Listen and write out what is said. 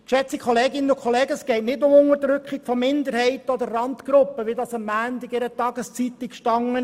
Geschätzte Kolleginnen und Kollegen, es geht nicht um die Unterdrückung von Minderheiten oder Randgruppen, wie dies am Montag in einer Tageszeitung stand.